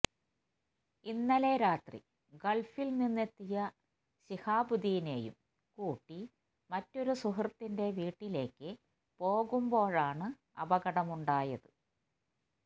ഇന്നലെ രാത്രി ഗള്ഫില് നിന്നെത്തിയ ശിഹാബുദ്ദീനേയും കൂട്ടി മറ്റൊരു സുഹൃത്തിന്റെ വീട്ടിലേക്ക് പോകുമ്പോഴാണ് അപകടമുണ്ടായത്